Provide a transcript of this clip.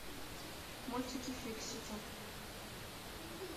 мультики фиксики